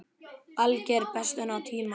Alger bestun á tíma.